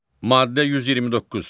Maddə 129.